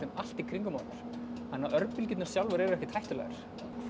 allt í kringum hana þannig að örbylgjurnar sjálfar eru ekkert hættulegar hvað